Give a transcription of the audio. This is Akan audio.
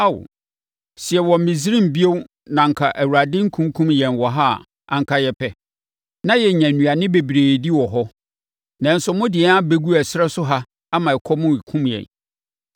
“Ao! Sɛ yɛwɔ Misraim bio na anka Awurade rekunkum yɛn wɔ hɔ a, anka yɛpɛ. Na yɛnya nnuane bebree di wɔ hɔ. Nanso, mode yɛn abɛgu ɛserɛ so ha ama ɛkɔm rekum yɛn.”